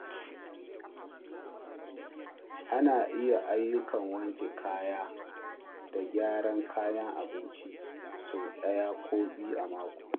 Ana iya ayyukan wanke kaya da gyara kayan abinci sau ɗaya ko biyu a mako.